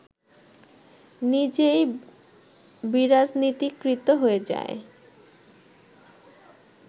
নিজেই বিরাজনীতিকৃত হয়ে যায়